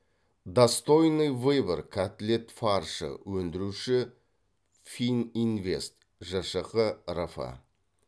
достойный выбор котлет фаршы өндіруші фининвест жшқ рф